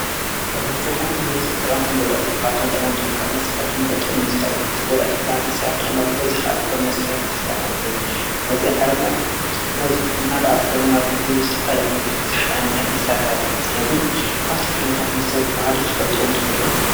ዘታት መሰታት እንሁድ ሰት ጠቐምትን ጐዳ የ ካብቶም ጠቐምቱሩ ብሃል መስታት ሞጥንምስጣ እየም ካብቶ ጐዳ ት ብሃል መሳያት ረማ ብበዝኅ ኣልኮኑ መስዳት ምስተይ ማለት ዩ ለዘይ ዓለምና ብበዝሖምና ብኣልኮኑና ብዝተፍልሊዕሉታት ብዙሕቲ ኣነታት መሣሃት ኣለ ስለዙይ ካብቶም ከነታት መሰድ ቦሃልዩ ትፈልጥዎምተሎ?